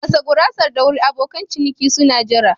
Gasa gurasar da wuri abokan ciniki suna jira.